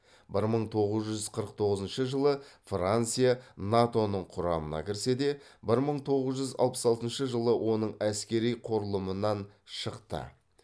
бір мың тоғыз жүз қырық тоғызыншы жылы франция нато ның құрамына кірсе де бір мың тоғыз жүз алпыс алтыншы жылы оның әскери құрылымынан шықты